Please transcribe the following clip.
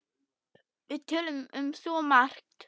Við töluðum um svo margt.